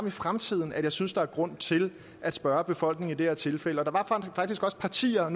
i fremtiden at jeg synes der er grund til at spørge befolkningen i det her tilfælde der var faktisk også partier